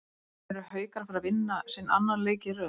ERU HAUKAR AÐ FARA AÐ VINNA SINN ANNAN LEIK Í RÖÐ???